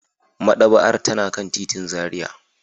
Madaba'ar tana kan titin Zaria.